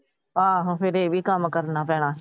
ਆਹੋ ਫਿਰ ਇਹ ਵੀ ਕੰਮ ਕਰਨਾ ਪੈਣਾ।